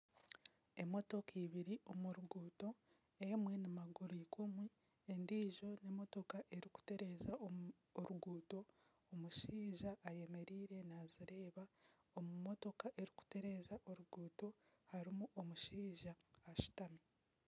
Emotooka ibiri omu ruguuto emwe ni maguru ikumi endijo n'emotooka erikutereeza oruguuto omushaija ayemereire nazireeba omu motooka erikutereeza oruguuto harimu omushaija ashutami.